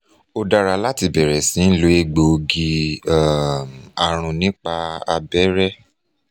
ó dára láti bẹ̀rẹ̀ sí ń lo egboogi um arun nípa abẹrẹ